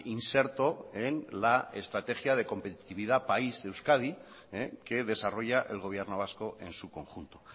inserto en la estrategia de competitividad país euskadi que desarrolla el gobierno vasco en su conjunto